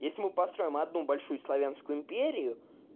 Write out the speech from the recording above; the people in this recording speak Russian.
есть мы построим одну большую славянскую империю